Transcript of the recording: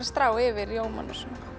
strá yfir rjómann